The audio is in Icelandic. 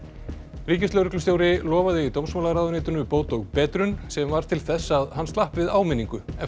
ríkislögreglustjóri lofaði dómsmálaráðuneytinu bót og betrun sem varð til þess að hann slapp við áminningu eftir